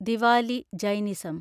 Diwali (Jainism)